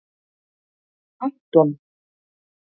Anton